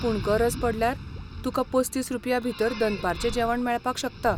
पूण गरज पडल्यार तुकां पस्तीस रुपयांभितर दनपारचें जेवण मेळपाक शकता.